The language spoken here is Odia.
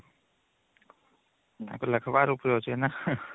ତାଙ୍କେ ଲେଖିବା ଉପରେ ଅଛି ନା